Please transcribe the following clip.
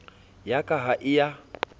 ya ka ha e a